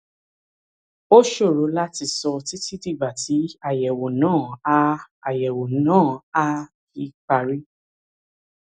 ó ṣòro láti sọ títí dìgbà tí àyẹwò náà á náà á fi parí